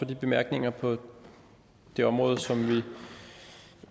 bemærkningerne på det område som vi